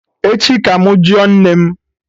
Echi ka mụ jụọ nne m